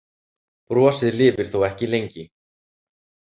Brosið lifir þó ekki lengi.